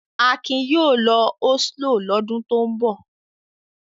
Akin yóò lọ Oslo lọ́dún tó ń bọ̀.